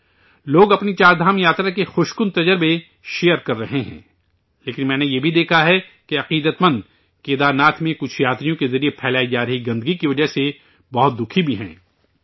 لوگ، اپنی 'چار دھام یاترا' کے اچھے احساس شیئر کررہے ہیں، لیکن ، میں نے، یہ بھی دیکھا کہ، عقیدت مند کیدارناتھ میں کچھ یاتریوں کے ذریعہ پھیلائی جارہی گندگی کی وجہ سے بہت تکلیف میں ہیں